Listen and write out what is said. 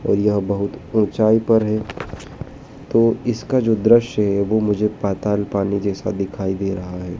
और यह बहुत ऊंचाई पर है तो इसका जो दृश्य है वो मुझे पाताल पानी जैसा दिखाई दे रहा है।